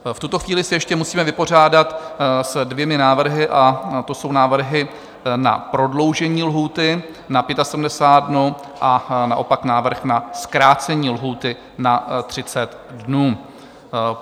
V tuto chvíli se ještě musíme vypořádat s dvěma návrhy, a to jsou návrhy na prodloužení lhůty na 75 dnů a naopak návrh na zkrácení lhůty na 30 dnů.